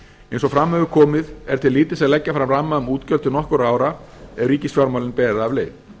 eins og fram hefur komið er til lítils að leggja fram ramma um útgjöld til nokkurra ára ef ríkisfjármálin ber af leið